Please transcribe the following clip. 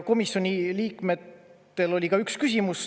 Komisjoni liikmetel oli ka üks küsimus.